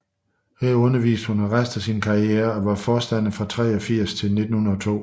Her underviste hun resten af sin karriere og var forstander fra 1883 til 1902